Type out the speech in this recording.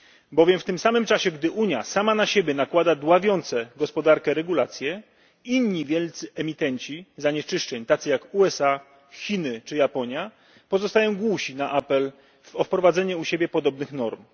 Bowiem w tym samym czasie, gdy Unia sama na siebie nakłada dławiące gospodarkę regulacje, inni wielcy emitenci zanieczyszczeń tacy jak USA, Chiny czy Japonia pozostają głusi na apel o wprowadzenie u siebie podobnych norm.